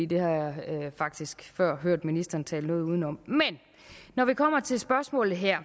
det har jeg faktisk før hørt ministeren tale noget uden om men når det kommer til spørgsmålet her